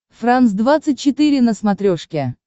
франс двадцать четыре на смотрешке